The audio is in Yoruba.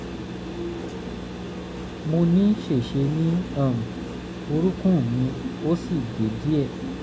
mo ní ṣèṣe ní um orúnkún mi ó sì gé díẹ̀